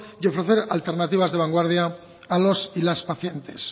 y ofrecer alternativas de vanguardia a los y las pacientes